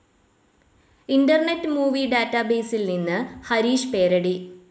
internet movie ഡാറ്റാബേസിൽ നിന്ന് ഹരീഷ് പേരടി